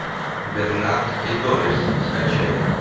бернард и дорис скачай